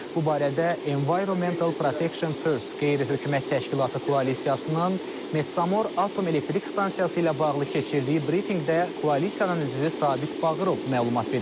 Bu barədə Environmental Protection First qeyri-hökumət təşkilatı koalisiyasının Metsamor Atom Elektrik Stansiyası ilə bağlı keçirdiyi brifinqdə koalisiyanın üzvü Sabit Bağırov məlumat verib.